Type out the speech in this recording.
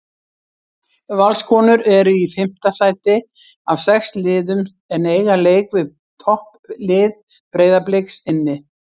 Valskonur eru í fimmta sæti af sex liðum en eiga leik við topplið Breiðabliks inni.